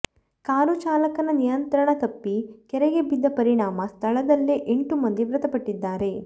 car ಚಾಲಕನ ನಿಯಂತ್ರಣ ತಪ್ಪಿ ಕೆರೆಗೆ ಬಿದ್ದ ಪರಿಣಾಮ ಸ್ಥಳದಲ್ಲೇ ಎಂಟು ಮಂದಿ ಮೃತಪಟ್ಟಿದ್ದಾರೆ